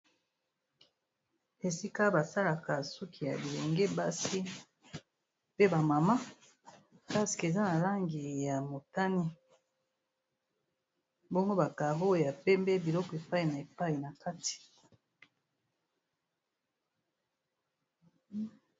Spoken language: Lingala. Esika basalaka suki ya bilenge basi pe ba mama mpaske eza na langi ya motani, mbongo ba karo ya pembe biloko efai na epai na kati.